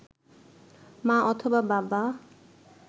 মা অথবা বাবা